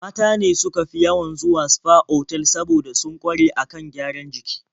Mata ne suka fi yawan zuwa sfa otal saboda sun ƙware a kan gyaran jiki.